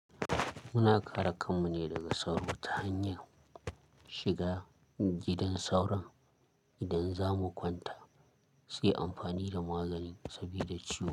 Muna kare kanmu ne daga sauro ta hanyar shiga gidan sauron idan za mu kwanta, sai amfani da magani saboda ciwo.